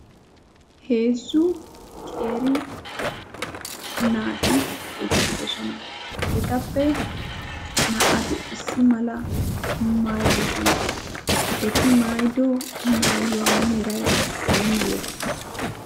Heezzu qeeri naati ueqqidoosona. etappe naa''ati issi mala maayuwaa maayidoosona. eti mayyido maayuwa meray ay male?